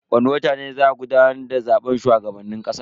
Wani watan ne za a gudanar da zaben shugaban kasa.